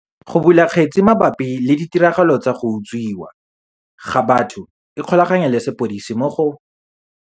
Go bula kgetse mabapi le ditiragalo tsa go utswiwa ga batho ikgolaganye le sepodisi mo go